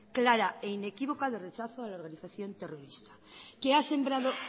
clara e inequívoca de rechazo a la organización terrorista que ha sembrado